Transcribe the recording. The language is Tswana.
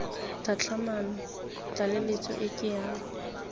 tlhatlhamano tlaleletso e ke ya